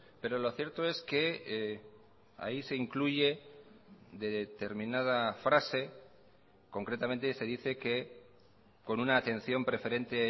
pero lo cierto es que ahí se incluye determinada frase concretamente se dice que con una atención preferente